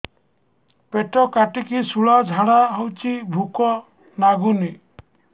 ପେଟ କାଟିକି ଶୂଳା ଝାଡ଼ା ହଉଚି ଭୁକ ଲାଗୁନି